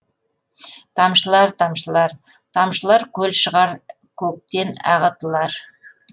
тамшылар тамшылар тамшылар көл шығар көктен ағытылар